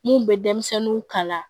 Mun bɛ denmisɛnninw kala